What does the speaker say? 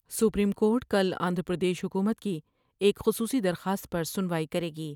Supreme court کل آندھرا پردیش حکومت کی ایک خصوصی درخواست پر سنوائی کرے گی ۔